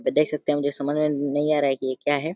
देख सकते हैं। मुझे समझ में न नई आ रहा है कि ये क्या है?